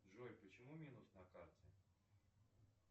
джой почему минус на карте